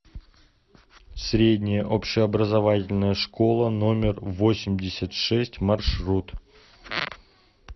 средняя общеобразовательная школа номер восемьдесят шесть маршрут